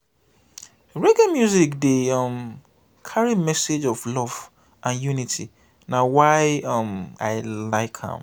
reggae music dey um carry message of love and unity na why um i like am.